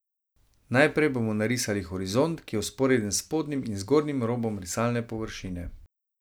Najprej bomo narisali horizont, ki je vzporeden s spodnjim in zgornjim robom risalne površine.